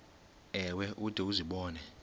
ewe ude uzibone